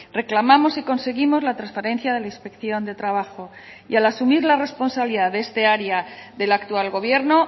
reclamamos y conseguimos la transferencia de la inspección de trabajo y al asumir la responsabilidad de esta área del actual gobierno